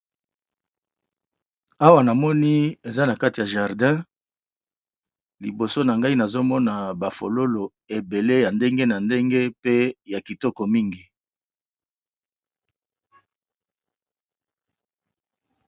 Awa namoni eza na kati ya jardin liboso na ngai nazomona ba fololo ebele ya ndenge na ndenge pe ya kitoko mingi.